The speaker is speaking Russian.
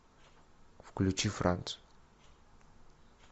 включи франц